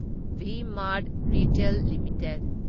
V Mart retail limited